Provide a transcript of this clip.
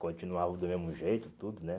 Continuava do mesmo jeito, tudo, né?